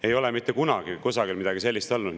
Ei ole mitte kunagi kusagil midagi sellist olnud.